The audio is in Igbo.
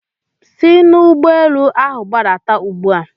Si n'ụgbọelu ahụ gbadata ugbu a!